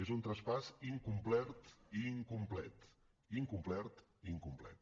és un traspàs incomplert i incomplet incomplert i incomplet